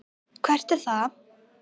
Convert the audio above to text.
Hvert er það?